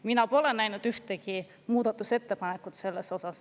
Ma pole näinud ka ühtegi muudatusettepanekut selle kohta.